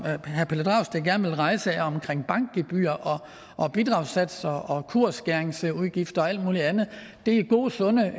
herre pelle dragsted gerne vil rejse er omkring bankgebyrer og bidragssatser og kursskæringsudgifter og alt muligt andet det er gode sunde